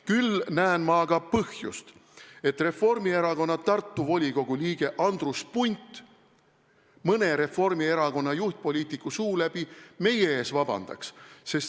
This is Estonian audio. Küll näen aga põhjust, et Reformierakonna Tartu volikogu liige Andrus Punt mõne Reformierakonna juhtpoliitiku suu läbi meie ees vabandaks.